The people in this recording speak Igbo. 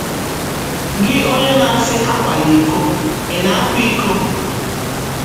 Gị, onye na - asị ‘ Akwala iko, ’ ị̀ na - akwa iko?...